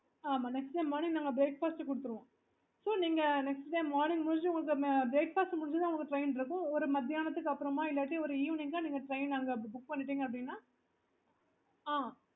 okay